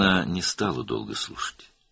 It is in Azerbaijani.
O, uzun müddət dinləmədi.